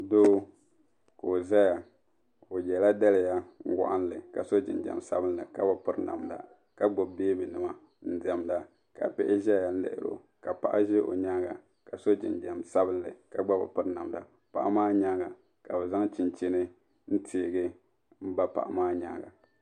Doo ka o zaya o yela daliya wɔɣinli ka so jinjam sabinli ka bi piri namda ka gbubi beebinima n diɛmda ka bihi ʒeya n liri o ka paɣa ʒe o nyaaŋa ka so jinjam sabinli ka gba bi piri namda paɣa maa nyaaŋa ka bi zaŋ chinchini teei m ba paɣa maa nyaaŋa.